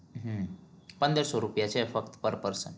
હમ પદરસો રૂપિયા છે ફક્ત પર person